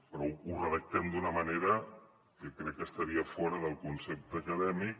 però ho redactem d’una manera que crec que estaria fora del concepte acadèmic